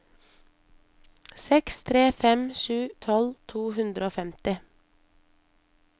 seks tre fem sju tolv to hundre og femti